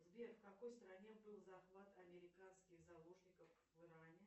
сбер в какой стране был захват американских заложников в иране